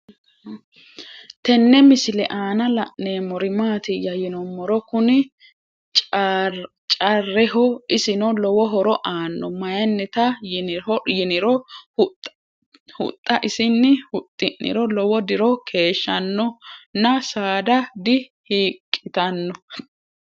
Tenne misile aanna la'neemmori maattiya yinummoro kunni caareho. isinno lowo horo aanno, mayiinnitta yinniro huxxa isinni huxxi'niro lowo diro keeshanno nna saada di hiiqittanno